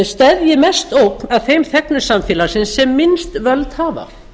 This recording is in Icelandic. steðji mest ógn að þeim þegnum samfélagsins sem minnst völd hafa